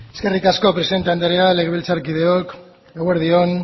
eskerrik asko presidente andrea legebiltzarkideok eguerdi on